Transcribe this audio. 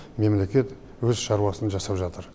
мемлекет өз шаруасын жасап жатыр